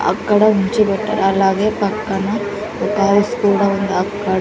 అక్కడ నించో పెట్టా అలాగే పక్కన ఒక హౌస్ కూడా ఉంది అక్క--